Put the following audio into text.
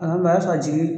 A mɛ sɔrɔ a tigi